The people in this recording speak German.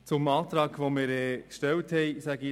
Ich sage doch noch etwas zu unserem Antrag.